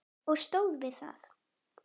Og stóð við það.